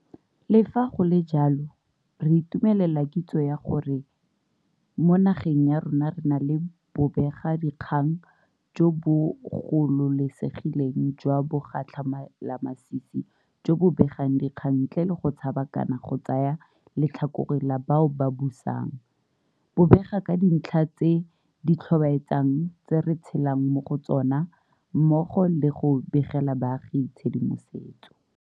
Le fa go le jalo, re itumelela kitso ya gore mo nageng ya rona re na le bobegakgang jo bo gololesegileng jwa bogatlhamelamasisi jo bo begang dikgang ntle le go tshaba kana go tsaya letlhakore la bao ba busang, bo bega ka dintlha tse di tlhobaetsang tse re tshelang mo go tsona, mmogo le go begela baagi tshedimosetso.